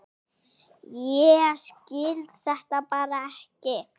Ég skil þetta bara ekki.